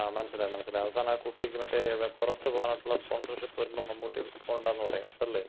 ങ്ങാ മനസിലായി മനസിലായി. അവസാനം, മറ്റേ കുട്ടിക്ക് മറ്റേ പുറത്ത് പോകാനുള്ള സ്പോണ്സർഷിപ്പ് വരുമ്പോ മമ്മൂട്ടി പോണ്ടാന്ന് പറയും. അതല്ലേ?